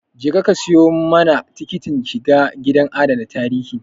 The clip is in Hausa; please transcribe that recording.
Je ka ka siyo mana tikitin shiga gidan adana tarihin